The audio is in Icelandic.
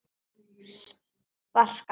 Sparkað aftur.